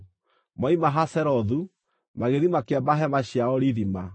Moima Hazerothu, magĩthiĩ makĩamba hema ciao Rithima.